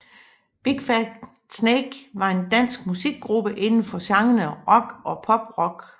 Big Fat Snake var en dansk musikgruppe inden for genrerne rock og poprock